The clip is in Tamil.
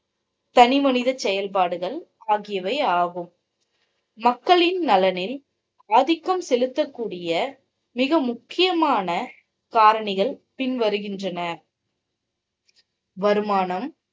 தனி மனித செயல்பாடுகள் ஆகியவை ஆகும். மக்களின் நலனில் ஆதிக்கம் செலுத்தக்கூடிய மிக முக்கியமான காரணிகள் பின் வருகின்றன. வருமானம்